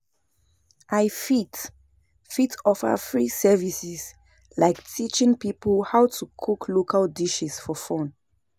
I fit fit offer free services like teaching people how to cook local dishes for fun.